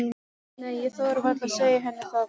Nei, ég þori varla að segja henni það.